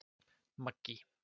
Maggý